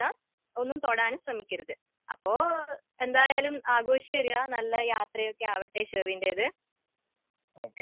ഒന്നും തൊടാനും ശ്രമിക്കരുത്.അപ്പൊ എന്തായാലും ആഘോഷിച്ച് വരുക.നല്ല യാത്രയൊക്കെ ആവട്ടെ ഷെറിന്റെത്.